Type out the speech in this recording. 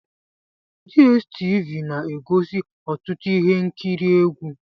DStv na-egosi ọtụtụ ihe nkiri egwu.